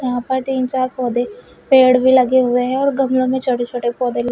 वहां पर तीन चार पौधे पेड़ भी लगे हुए हैं और गमलों में छोटे छोटे पौधे लगे--